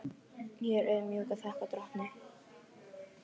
Ég er auðmjúk og þakka drottni.